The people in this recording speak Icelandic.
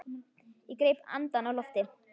Ég greip andann á lofti.